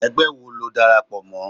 ẹgbẹ wọ lo dárápọ mọ?